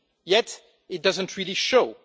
Yet it doesn't really show.